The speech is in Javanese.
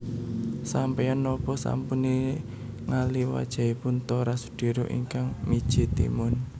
Sampean nopo sampun ningali wajanipun Tora Sudiro ingkang miji timun?